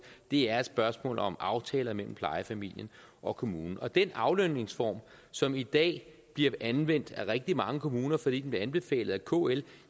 det er et spørgsmål om aftaler mellem plejefamilien og kommunen og den aflønningsform som i dag bliver anvendt af rigtig mange kommuner fordi den bliver anbefalet af kl